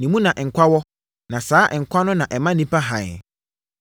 Ne mu na nkwa wɔ; na saa nkwa no na ɛma nnipa hann.